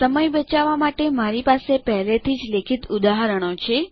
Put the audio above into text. સમય બચાવવા માટે મારી પાસે પહેલેથી જ લેખિત ઉદાહરણો છે